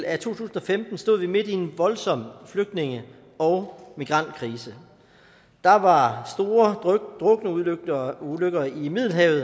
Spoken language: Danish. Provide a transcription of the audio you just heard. af to tusind og femten stod vi midt i en voldsom flygtninge og migrantkrise der var store drukneulykker i middelhavet